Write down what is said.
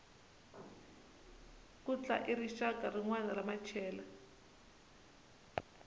khutla i rixaka rinwana ra machela